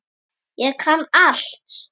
Ég kann allt!